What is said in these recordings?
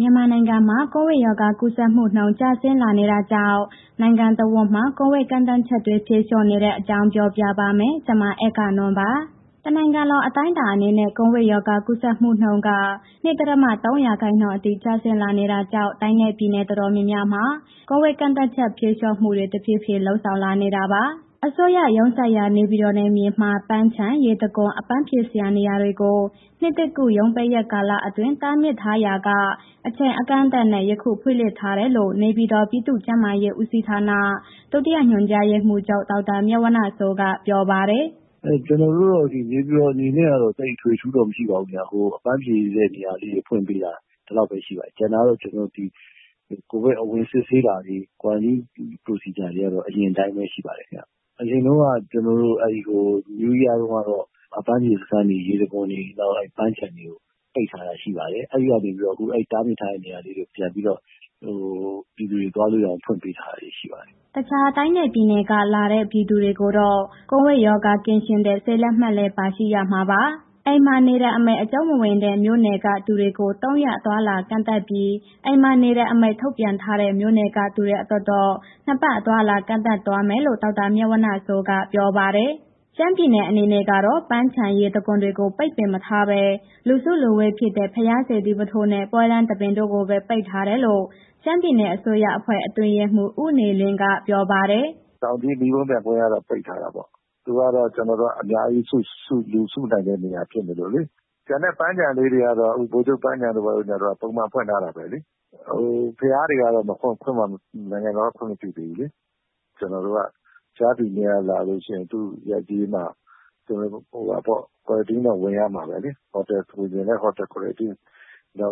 မြန်မာနိုင်ငံမှာ ကိုဗစ်ရောဂါ ကူးစက်မှုနှုန်း ကျဆင်းလာနေတာကြောင့် နိုင်ငံတဝန်းမှာ ကိုဗစ် ကန့်သတ်ချက်တွေ ဖြေလျှော့နေတဲ့ အကြောင်းကို ဗွီအိုအေမြန်မာပိုင်း သတင်းထောက် မအဂ္ဂနွန်က ပြောပြပါမယ်။ တနိုင်ငံလုံး အတိုင်းအတာအနေနဲ့ ကိုဗစ်ရောဂါ ကူးစက်မှုနှုန်းက ၂.၃ ရာခိုင်နှုန်းအထိ ကျလာဆင်းလာတာကြာင့် တိုင်းနဲ့ ပြည်နယ်တော်တော်များများမှာ ကိုဗစ်ကန့်သတ်ချက် ဖြေလျှော့မှုတွေ တဖြည်းဖြည်း လုပ်ဆောင်လာနေတာပါ။ အစိုးရရုံးစိုက်ရာ နေပြည်တော်နယ်မြေမှာ ပန်းခြံ၊ ရေတံခွန်၊ အပန်းဖြေစရာနေရာတွေကို နှစ်သစ်ကူး ရုံးပိတ်ရက်ကာလအတွင်း တားမြစ်ရာက အချိန်အကန့်အသတ်နဲ့ ယခုပြန်ဖွင့်လှစ်ထားတယ်လို့ နေပြည်တော် ပြည်သူ့ကျန်းမာရေးဦးစီးဌာန ဒုတိယညွှန်ကြားရေးမှူးချုပ် ဒေါက်တာမြတ်ဝဏ္ဏစိုးက ပြောပါတယ်။ “ကျနော်တို့ နေပြန်တော်အနေနဲ့ကတော့ သိပ်အထွေအထူးတော့ မရှိပါဘူး။ အပန်းဖြေတဲ့ နေရာလေးတွေ ဖွင့်ပေးတာ ဒီလောက်ပဲရှိတယ်။ ကျန်တာတော့ ကျနော်တို့ ဒီကိုဗစ် အဝင်စစ်ဆေးတာတွေ quarantine procedure တွေကတော့ အရင်အတိုင်းပဲ ရှိပါတယ်ခင်ဗျ။ အရင်တုန်းက နယူးရီးယားတုန်းကတော့ အပန်းဖြေစခန်းတွေ ရေတံခွန်တွေ နောက်ပန်းခြံတွေကို ပိတ်ထားတာရှိပါတယ်။ အဲ့ဒီကနေပြီးတာ့ အခု အဲ့တားမြစ်ထားတဲ့ နေရာလေးကို ပြန်ပြီးတော့ ပြည်သူတွေ သွားလို့ရအောင် ဖွင့်ပေးထားတာရှိပါတယ်။” တခြားတိုင်းနဲ့ ပြည်နယ်က လာတဲ့ ပြည်သူတွေကိုတော့ ကိုဗစ်ရောဂါ ကင်းရှင်းတဲ့ ဆေးလက်မှတ်လည်း ပါရှိရမှာပါ။ အိမ်မှာနေတဲ့ အမိန့် အကျုံးမဝင်တဲ့ မြို့နယ်ကသူတွေကို သုံးရက် အသွားအလာကန့်သတ်ပြီး အိမ်မှာနေတဲ့အမိန့် ထုတ်ပြန်ထားတဲ့ မြို့နယ်ကသူတွေအတွက်တော့ နှစ်ပတ် အသွားအလာ ကန့်သတ်ထားသွားမယ်လို့ ဒေါက်တာမြတ်ဝဏ္ဏစိုးက ပြောပါတယ်။ ရှမ်းပြည်နယ်အနေနဲ့ကတော့ ပန်းခြံ၊ ရေတံခွန်တွေကို ပိတ်ပင်မထားဘဲ လူစုလူဝေးဖြစ်တဲ့ ဘုရားစေတီပုထိုးနဲ့ ပွဲလမ်းသဘင်တို့ပဲ ပိတ်ထားတယ်လို့ ရှမ်းပြည်နယ် အစိုးရအဖွဲ့ အတွင်းရေးမှူး ဦးနေလင်းက ပြောပါတယ်။ “တောင်ကြီး မီးပုံပျံပွဲကတော့ ပိတ်ထားတာပေါ့။ သူကတော့ အများကြီး လူစုလူဝေးဖြစ်နိုင်တဲ့ နေရာဖြစ်နေတယ်လေ။ ကျန်တဲ့ ပန်းခြံလေးတွေကတော့ ဗိုလ်ချုပ်ပန်းခြံတို့၊ ဘာတို့ညာတို့ကတော့ ပုံမှန်ဖွင့်ထားတာပဲလေ။ ဘုရားတွေကတော့ နိုင်ငံတော်က ခွင့်မပြုသေးဘူးလေ။ ကျနော်တို့ အခြားပြည်နယ်က လာလို့ရှိရင် သူရဲ့ ရပ်ကျေးမှာ ဟိုဟာပေါ့... Quarantine တော့ ဝင်ရမှာပဲလေ။ ဟိုတယ်ဝင်ချင်ရင် ဟိုတယ်၊ ကွာရန်တင်း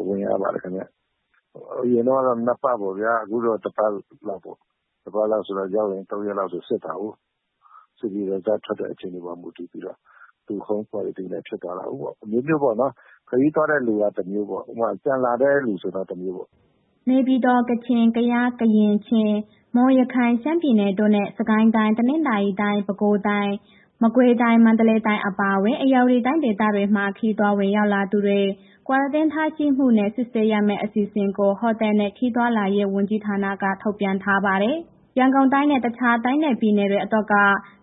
ဝင်ရပါတယ်ခင်ဗျ။ အရင်တုန်းကတော့ နှစ်ပတ်ပေါ့ဗျာ။ အခုတော့ တစ်ပတ်လောက်ပေါ့။ တစ်ပတ်လောက်ဆိုတာ ရောက်ရင် သုံးရက်လောက်ဆို စစ်တာကိုး။ စစ်ပြီးအဖြေထွက်တဲ့ အချိန်မှာ မူတည်ပြီးတော့ သူ home Quarantine ဖြစ်သွားမှာပေါ့။ အမျိုးမျိုးပေါ့နော်။ ခရီးသွားတဲ့လူက တစ်မျိုးပေါ့၊ ဥပမာ ပြန်လာတဲ့လူဆိုရင်တော့ တစ်မျိုးပေါ့။” နေပြည်တော်၊ ကချင် ကယား၊ ကရင်၊ ချင်း၊ မွန်၊ ရခိုင်၊ ရှမ်းပြည်နယ်တို့နဲ့ စစ်ကိုင်းတိုင်း၊ တနင်္သာရီတိုင်း၊ ပဲခူးတိုင်း၊ မကွေးတိုင်း၊ မန္တလေးတိုင်း အပါအဝင် ဧရာဝတီတိုင်း ဒေသတွေမှာ ခရီးသွား ဝင်ရောက်လာသူတွေ Quarantine ထားရှိမှုနဲ့ စစ်ဆေးရမယ့် အစီအစဉ်ကို ဟိုတယ်နဲ့ ခရီးသွားလာရေးဝန်ကြီးဌာနက ထုတ်ပြန်ထားပါတယ်။ ရန်ကုန်တိုင်းနဲ့ တခြားတိုင်းနဲ့ ပြည်နယ်တွေအတွက်က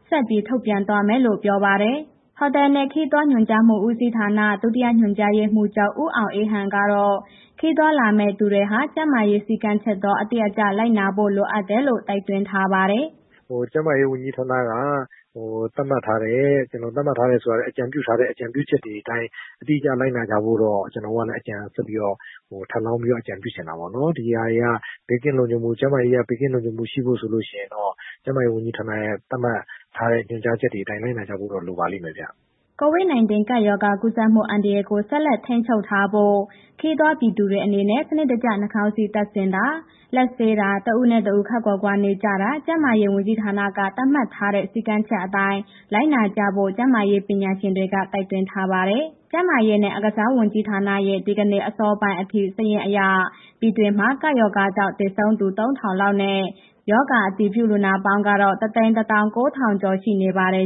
ဆက်ပြီး ထုတ်ပြန်သွားမယ်လို့ ပြောပါတယ်။ ဟိုတယ်နဲ့ ခရီးသွားညွှန်ကြားမှုဦးစီးဌာန ဒုတိယညွှန်ကြားရေးမှူးချုပ် ဦးအောင်အေးဟန်ကတော့ ခရီးသွားလာမယ့် သူတွေဟာ ကျန်းမာရေးစည်ကမ်းချက်တော့ အတိအကျလိုက်နာဖို့ လိုအပ်တယ်လို့ တိုက်တွန်းထားပါတယ်။ “ကျန်းမာရေးဝန်ကြီးဌာနက သတ်မှတ်ထားတဲ့.... သတ်မှတ်ထားတယ်ဆိုတာ အကြံပြုထားတဲ့ အကြုံပြုချက်တွေအတိုင်း အတိအကျလိုက်နာဖို့တော့ ကျနော်တို့က ထပ်လောင်းပြီး အကြုံပြုချင်တာပေါ့နော်။ ဒီဟာတွေက ဘေးကင်းလုံခြုံမှု၊ ကျန်းမာရေးက ဘေးကင်းလုံခြုံမှုရှိဖို့ဆိုလို့ရှိရင် ကျန်းမာရေးဝန်ကြီးဌာနက သတ်မှတ်ထားတဲ့ ညွှန်ကြားချက်တွေအတိုင်း လိုက်နာကြဖို့ လိုပါလိမ့်မယ်ဗျ။” COVID -19 ကပ်ရောဂါကူးစက်မှု အန္တရာယ်ကို ဆက်လက်ထိန်းချုပ်ထားဖို့ ခရီးသွား ပြည်သူတွေအနေနဲ့ စနစ်တကျ နှာခေါင်းစည်းတပ်ဆင်တာ၊ လက်ဆေးတာ တစ်ဦးနဲ့ တစ်ဦးခပ်ခွာခွာနေကြတာ ကျန်းမာရေးဝန်ကြီးဌာနက သတ်မှတ်ထားတဲ့ စည်းကမ်းချက်အတိုင်း လိုက်နာကြဖို့ ကျန်းမာရေးပညာရှင်တွေက တိုက်တွန်းထားပါတယ်။ ကျန်းမာရေးနဲ့ အားကစားဝန်ကြီးဌာနရဲ့ ဒီကနေ့ အစောပိုင်းအထိ စာရင်းအရ ပြည်တွင်းမှာ ကပ်ရောဂါကြောင့် သေဆုံးသူ ၃,၀၀၀ လောက်နဲ့ ရောဂါအတည်ပြု လူနာပေါင်းကတော့ ၁၁၉,၀၀၀ ကျော်ရှိနေပါတယ်။